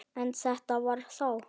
En þetta var þá.